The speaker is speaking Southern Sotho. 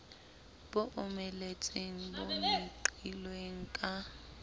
bo omeletseng bo meqilweng ka